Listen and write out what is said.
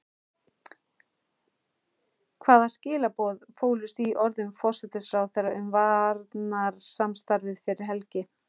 Hvaða skilaboð fólust í orðum forsætisráðherra um varnarsamstarfið fyrir helgi?